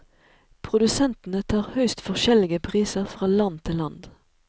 Produsentene tar høyst forskjellige priser fra land til land.